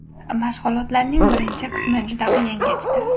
Mashg‘ulotlarning birinchi qismi juda qiyin kechdi.